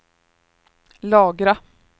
lagra